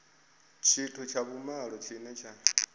tshithu tsha vhumalo tshine tsha